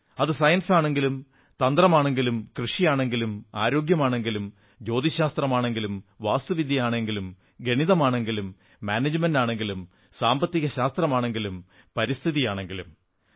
അത് സയൻസാണെങ്കിലും തന്ത്രമാണെങ്കിലും കൃഷിയാണെങ്കിലും ആരോഗ്യമാണെങ്കിലും ജ്യോതിശാസ്ത്രമാണെങ്കിലും വാസ്തുവിദ്യയാണെങ്കിലും ഗണിതമാണെങ്കിലും മാനേജ്മെന്റാണെങ്കിലും സാമ്പത്തിക ശാസ്ത്രമാണെങ്കിലും പരിസ്ഥിതിയാണെങ്കിലും